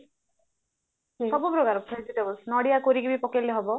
ସବୁ ପ୍ରକାର vegetables ନଡିଆ କୋରିକି ବି ପକେଇଲେ ହବ